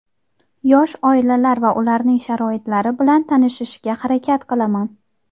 yosh oilalar va ularning sharoitlari bilan tanishishga harakat qilaman.